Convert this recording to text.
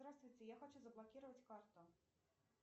здравствуйте я хочу заблокировать карту